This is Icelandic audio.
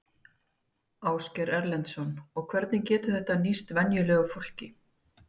Ásgeir Erlendsson: Og hvernig getur þetta nýst venjulegu fólki?